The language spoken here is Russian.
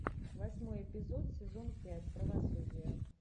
восьмой эпизод сезон пять правосудие